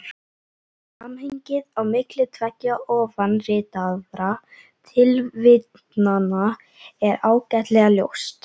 Samhengið á milli tveggja ofanritaðra tilvitnana er ágætlega ljóst.